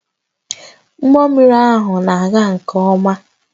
Ụgbọ mmiri ahụ na-aga nke ọma